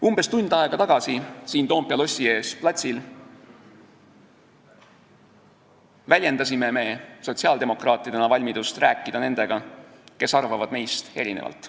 Umbes tund aega tagasi väljendasime me sotsiaaldemokraatidena siin Toompea lossi ees platsil valmidust rääkida nendega, kes arvavad meist erinevalt.